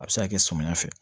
A bɛ se ka kɛ samiyɛ fɛ